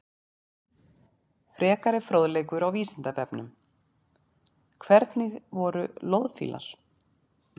Frekari fróðleikur á Vísindavefnum: Hvernig voru loðfílar?